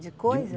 De coisa?